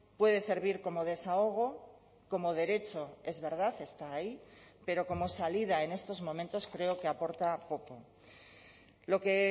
puede servir como desahogo como derecho es verdad está ahí pero como salida en estos momentos creo que aporta poco lo que